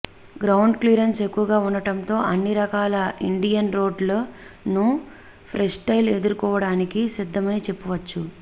ground clearance ఎక్కువగా ఉండటంతో అన్ని రకాల ఇండియన్ రోడ్లను ఫ్రీస్టైల్ ఎదుర్కోవడానికి సిద్దమని చెప్పవచ్చు